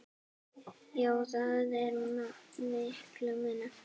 Já, það er mikill munur.